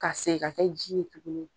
Ka segin ka kɛ ji ye tuguni.